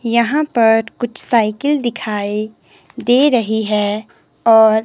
यहां पर कुछ साइकिल दिखाई दे रही है और--